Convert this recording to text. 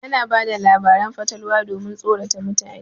Ana bada labarin fatalwa domin tsorata mutane.